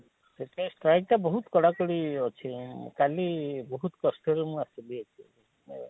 ସେଥି ପାଇଁ Strike ଟା ବହୁତ କଡା କୁଡି ଅଛି ଅଁ କାଲି ବହୁତ କଷ୍ଟରେ ମୁଁ ଆସିଲି ଏଠି ହଁ